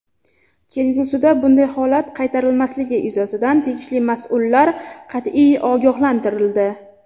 Kelgusida bunday holat qaytarilmasligi yuzasidan tegishli mas’ullar qat’iy ogohlantirildi.